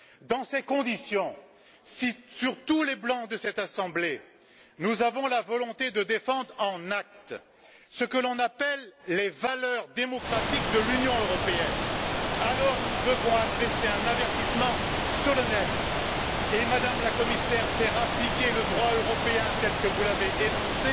Dans ces conditions, si, sur tous les bancs de cette Assemblée, nous avons la volonté de défendre en actes ce que l'on appelle les valeurs démocratiques de l'Union européenne, alors, nous devons adresser un avertissement solennel et, Madame la Commissaire, faire appliquer le droit européen tel que vous l'avez énoncé